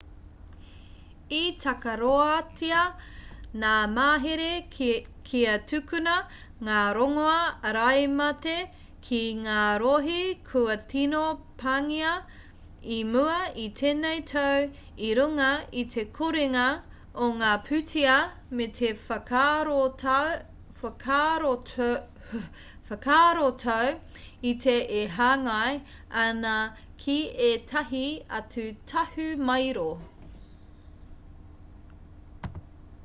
i takaroatia ngā mahere kia tukuna ngā rongoā āraimate ki ngā rohe kua tino pāngia i mua i tēnei tau i runga i te korenga o ngā pūtea me te whakaarotau iti e hāngai ana ki ētahi atu tahumaero